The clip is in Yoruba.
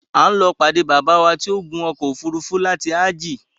A ó lọ pàdé Baba wa ti o ń gun ọkọ̀ òfúrúúfú láti ájí